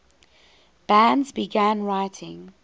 bands began writing